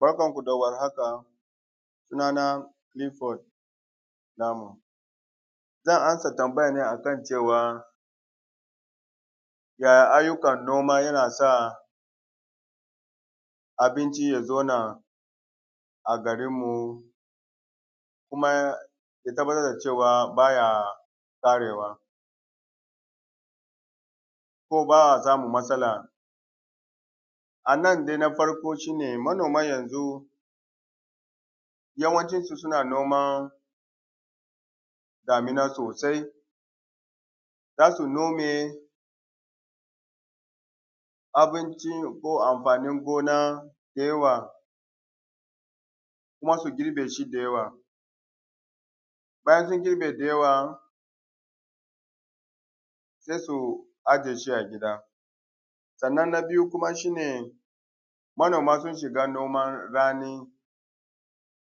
Bakanmu da warhaka sunana Kilifod Lamu zan amsa tambaya akan cewa ya ayyukan noma yana sa abinci ya zauna a garinmu kuma ya zauna ya zamana cewa baya ƙarewa ko ba a samun matsala a nan dai na farko shi ne manoma yanzu yawancin su suna noman damina sosai za su nome abinci ko amfanin gona da yawa kuma su girbeshi da yawa. Bayan sun girbe da yawa se su ajiyes hi a gida sanna na biyu kuma shi ne manoma sun shiga noman rani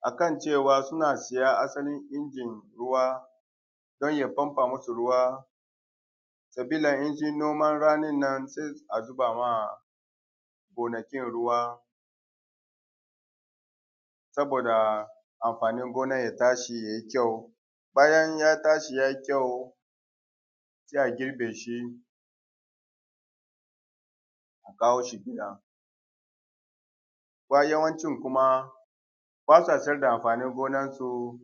akan cewa suna siya asalin tankin ruwa don ya fanfa musu ruwa sabila in sun noman ranin nan se a riƙa zubawa gonakin ruwa, saboda amfanin gonan ya tashi ya yi kyau. Bayan ya tashi ya yi kyau se a girbe shi a kawo shi gida bayan wancan kuma ba sa siyar da amfanin noman su,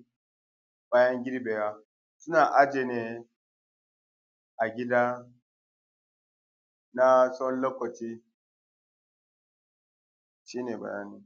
bayan girbewa suna aje ta ne a gida na tsawon lokaci shi ne bayani.